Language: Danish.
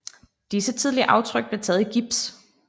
Disse tidlige aftryk blev taget i gips